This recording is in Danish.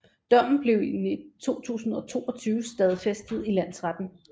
Dommen blev i 2022 stadfæstet i landsretten